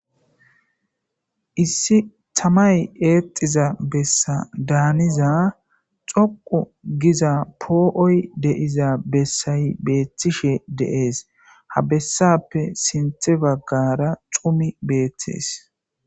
Issi tamay eexiza bessa daaniza xoqu giza poo7oy deiza bessay beeththishe deees ha bessappe sinthe baggara xumi beeththees.